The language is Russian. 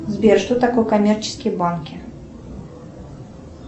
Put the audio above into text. сбер что такое коммерческие банки